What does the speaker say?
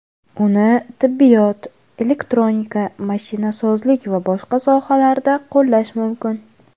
Uni tibbiyot, elektronika, mashinasozlik va boshqa sohalarda qo‘llash mumkin”.